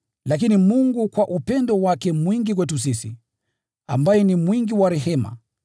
Lakini Mungu kwa upendo wake mwingi kwetu sisi, ambaye ni mwingi wa rehema,